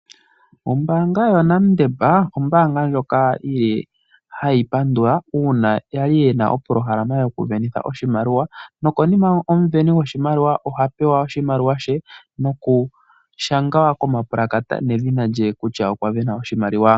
Ombaanga yaNedbank ombaanga ndjoka hayi pandula uuna yali yena opolo halama yoku venitha oshimaliwa nokonima omuveni goshimaliwa ohapewa oshimaliwa she noku shangwa komapulakata ndhina lye kutya okwa vena oshimaliwa.